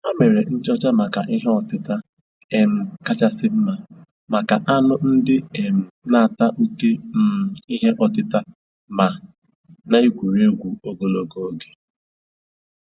Ha mere nchọcha maka ihe ọtịta um kachasị mma maka anụ ndị um na-ata oké um ìhè ọtịta ma na-egwu egwuregwu ogologo oge